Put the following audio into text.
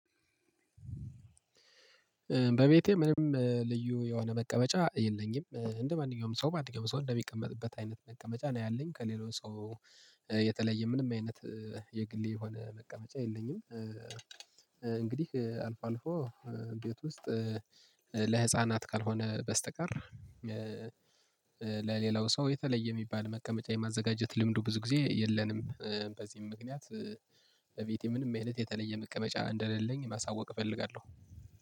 በቤቴ ምንም ልዩ የሆነ መቀመጫ የለኝም እንደማንኛውም ሰው ማንኛውም ሰው እንደሚቀመጥበት አይነት መቀመጫ ነው ያለኝ ከሌላው ሰው የተለየ ምንም አይነት የግሌ የሆነ መቀመጫ የለኝም። እንግዲህ አልፎ አልፎ ቤት ውስጥ ለህፃናት ካልሆነ በስተቀር ለሌላው ሰው የተለየ የሚባል መቀመጫ የማዘጋጀት ልምዱ ብዙ ጊዜ የለንም። በዚህም ምክንያት በቤቴ ምንም አይነት የተለየ መቀመጫ እንደሌለኝ ማሳወቅ እፈልጋለሁ።